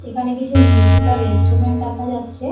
এখানে কিছু musical instrument দেখা যাচ্ছে-এ।